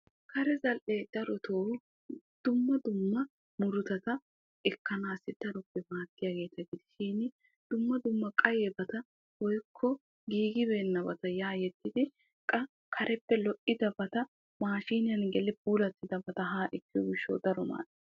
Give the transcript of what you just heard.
Kare zal'e daroto dumma dumma murutata ekkanasi daroto maaddiyagetti dumma dumma qayebatikka woykko giigidabatikka ya yeddididi qa kareppe kareppe lo'idabata mashiniyan gelidi giigidabata ha ekkeettees.